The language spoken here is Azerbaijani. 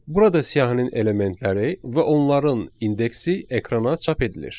Burada siyahının elementləri və onların indeksi ekrana çap edilir.